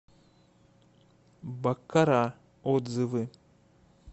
баккара отзывы